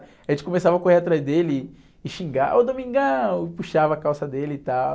A gente começava a correr atrás dele e xingar, ô Domingão, e puxava a calça dele e tal.